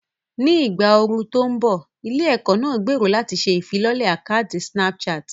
Ní ìgbà ooru tó ń bọ̀, ilé-ẹ̀kọ́ náà gbèrò láti ṣe ìfilọ́lẹ̀ àkátì Snapchat.